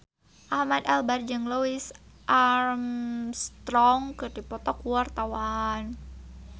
Ahmad Albar jeung Louis Armstrong keur dipoto ku wartawan